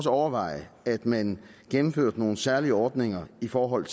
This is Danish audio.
overveje at man gennemførte nogle særlige ordninger i forhold